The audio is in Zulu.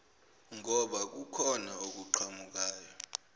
ngoba kukhona okuqhamukayo